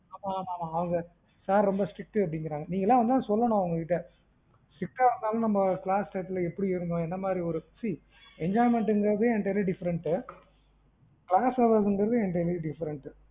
ஆமா ஆமா அவுங்களாம் sir ரொம்ப strict ட்டு அப்டீங்குறாங்க, நீங்கலாம் வந்து தான் சொல்லணும் அவங்கட்ட strict ஆ இருந்தாலும் நம்ம class time ல எப்படி எப்படி இருந்தோம், என்னமாறி see enjoyment ங்குறதே entirely different ங்குறது entirely different